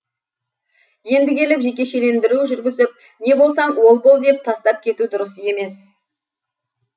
енді келіп жекешелендіру жүргізіп не болсаң ол бол деп тастап кету дұрыс емес